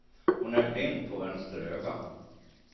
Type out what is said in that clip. Hon är blind på vänster öga.